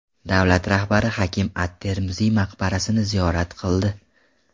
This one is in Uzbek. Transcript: Davlat rahbari Hakim at-Termiziy maqbarasini ziyorat qildi.